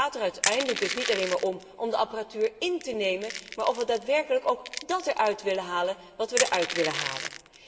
Het gaat er uiteindelijk dus niet alleen maar om om de apparatuur in te nemen, maar ook om de vraag of we daadwerkelijk dat eruit willen halen wat we eruit willen halen.